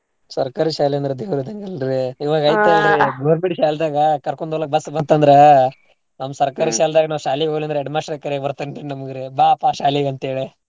ಸರ್ಕಾರಿ ಶಾಲೆ ಅಂದ್ರ ದೇವ್ರ ಇದ್ದಂಗ ಅಲ್ರೀ ಇವಾಗ್ ಐತೆಲ್ರಿ government ಶಾಲ್ದಾಗ ಕರ್ಕೊಂಡ ಹೋಗಾಕ್ bus ಬಂತಂದ್ರ ನಮ್ಮ್ ಸರ್ಕಾರಿ ಶಾಲ್ದಾಗ ನಾವ್ ಶಾಲೆಗೆ ಹೋಗ್ಲಿಲ್ಲಂದ್ರೆ headmaster ಏ ಕರ್ಯಾಕ್ ಬರ್ತಾನ್ ರೀ ನಮ್ಗ್ ರೀ ಬಾ ಪಾ ಶಾಲೆಗೆ ಅಂತೇಳ.